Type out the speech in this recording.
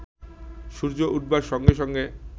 সূর্য উঠবার সঙ্গে সঙ্গে